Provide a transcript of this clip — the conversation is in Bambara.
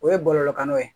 O ye bɔlɔlɔw ye